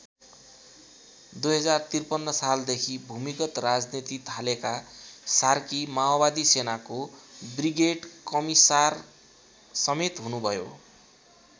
२०५३ सालदेखि भूमिगत राजनीति थालेका सार्की माओवादी सेनाको ब्रिगेड कमिसारसमेत हुनु भयो।